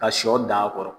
Ka sɔ dan a kɔrɔ